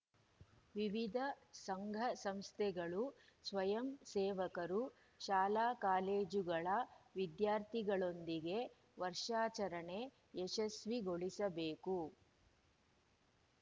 ವಿವಿಧ ಸಂಘಸಂಸ್ಥೆಗಳು ಸ್ವಯಂ ಸೇವಕರು ಶಾಲಾಕಾಲೇಜುಗಳ ವಿದ್ಯಾರ್ಥಿಗಳೊಂದಿಗೆ ವರ್ಷಾಚರಣೆ ಯಶಸ್ವಿಗೊಳಿಸಬೇಕು